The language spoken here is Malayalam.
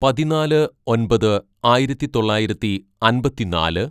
"പതിനാല് ഒന്‍പത് ആയിരത്തിതൊള്ളായിരത്തി അമ്പത്തിന്നാല്‌